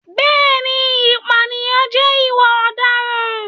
Bẹ́ẹ̀ni, ìpànìyàn jẹ́ ìwà ọ̀daràn.